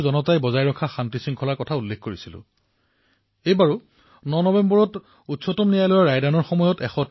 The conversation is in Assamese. এইবাৰো যেতিয়া ৯ ছেপ্টেম্বৰ তাৰিখে উচ্চতম ন্যায়ালয়ে ৰায়দান কৰিলে তেতিয়া ১৩০ কোটি ভাৰতীয়ই পুনৰবাৰ তেওঁলোকৰ বাবে দেশহিততকৈ অধিক একো নহয় বুলি প্ৰমাণিত কৰিলে